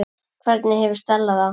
Hvernig hefur Stella það?